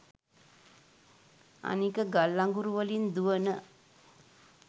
අනික ගල් අඟුරුවලින් දුවන